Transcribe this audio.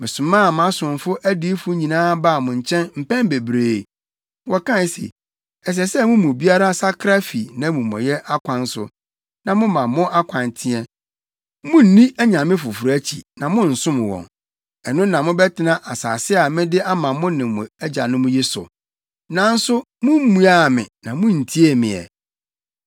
Mesomaa mʼasomfo adiyifo nyinaa baa mo nkyɛn mpɛn bebree. Wɔkae se, “Ɛsɛ sɛ mo mu biara sakra fi nʼamumɔyɛ akwan so, na moma mo akwan teɛ; munnni anyame foforo akyi na monnsom wɔn. Ɛno na mobɛtena asase a mede ama mo ne mo agyanom yi so.” Nanso mummmuaa me na munntiee me ɛ.